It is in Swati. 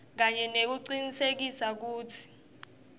kanye nekucinisekisa kutsi